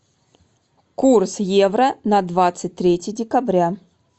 курс евро на двадцать третье декабря